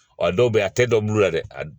Ɔ dɔw bɛ a tɛ dɔ bulu la dɛ